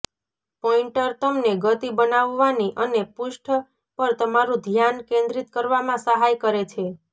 pointer તમને ગતિ બનાવવાની અને પૃષ્ઠ પર તમારું ધ્યાન કેન્દ્રિત કરવામાં સહાય કરે છે